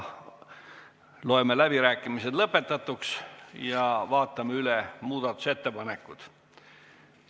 Loen läbirääkimised lõpetatuks ja vaatame üle muudatusettepanekud.